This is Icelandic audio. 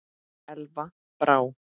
Elva Brá.